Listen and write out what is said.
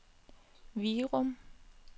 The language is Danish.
Virum